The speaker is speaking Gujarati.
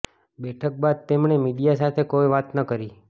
બેઠક બાદ તેમણે મીડિયા સાથે કોઈ વાત ન કરી